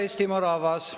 Hea Eestimaa rahvas!